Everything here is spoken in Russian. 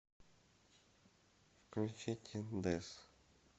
включи тин дэз